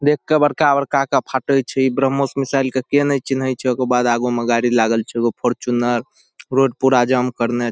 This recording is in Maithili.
देख के बड़का-बड़का के फटै छी। ब्रम्होस मिसाइल के के न चिन्है छे। ओकर बाद आगो में गाड़ी लागल छे एगो फॉरचूनर रोड पूरा जाम करने --